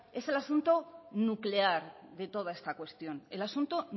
es el asunto nuclear de toda esta cuestión el asunto